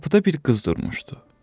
Qapıda bir qız durmuşdu.